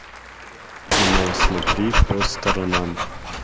кино смотри по сторонам